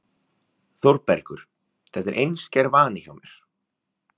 ÞÓRBERGUR: Þetta er einskær vani hjá mér.